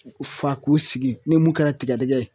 U fa k'u sigi ni mun kɛra tigɛdigɛ ye